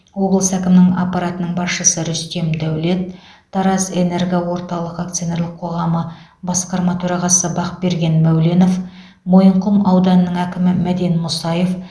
облыс әкімінің аппаратының басшысы рүстем дәулет таразэнергоорталық акциолнерлік қоғамы басқарма төрағасы бақберген мәуленов мойынқұм ауданының әкімі мәден мұсаев